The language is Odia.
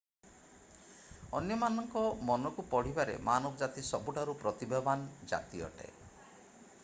ଅନ୍ୟମାନଙ୍କ ମନକୁ ପଢ଼ିବାରେ ମାନବଜାତି ସବୁଠାରୁ ପ୍ରତିଭାବାନ ଜାତି ଅଟେ